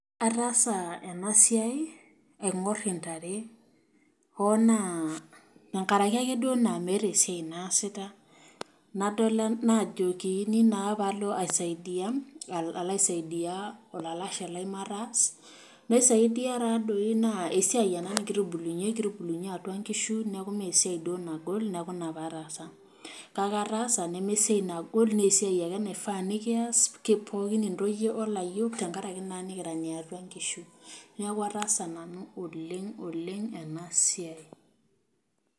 Ataasa ena siai aingor intare. Hoo naa enkaraki ake duo naa maata esiai naasita naajokini naa padol aisaidia olalashe lai mataas. Naisaidi taa doi naa esia ena nikitubulunyie, kitubulunyie atua nkishu niaku imessia duo nagol niaku ina naaduo paatasa. Kake ataasa neme esiai nagol, naa esiai ake naifaa nikias pooki intoyie olayiok tenkaraki naa nikira niatua nkishu . Niaku ataasa nanu oleng oleng ena siai